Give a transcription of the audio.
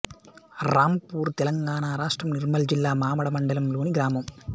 రాంపూర్ తెలంగాణ రాష్ట్రం నిర్మల్ జిల్లా మామడ మండలంలోని గ్రామం